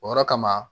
O yɔrɔ kama